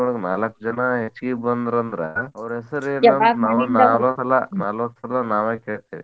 ಒಳಗ್ ನಾಲಕ್ಕ್ ಜನಾ ಹೆಚ್ಛ್ಗಿ ಬಂದ್ರಂದ್ರ ಅವ್ರ ಹೆಸರೇನ್ ನಲವತ್ತ್ ಸಲಾ ನಾವ್ ಕೇಳ್ತೇವಿ.